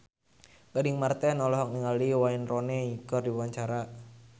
Gading Marten olohok ningali Wayne Rooney keur diwawancara